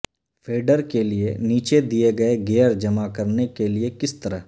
feeder کے لئے نیچے دیے گیئر جمع کرنے کے لئے کس طرح